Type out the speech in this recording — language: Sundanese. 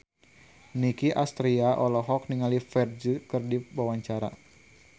Nicky Astria olohok ningali Ferdge keur diwawancara